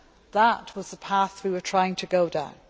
That was the path we were trying to go down.